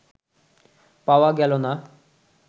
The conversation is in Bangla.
পাওয়া গেল না